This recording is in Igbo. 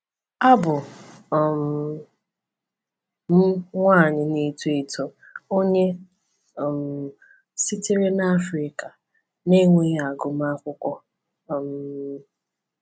“Abụ um m nwanyị na-eto eto, onye um sitere na Africa, na-enweghị agụmakwụkwọ. um